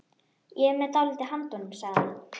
Ég er með dálítið handa honum, sagði hann.